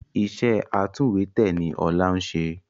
Iṣẹ́ atúnwèétẹ̀ ni Ọlá ń ṣe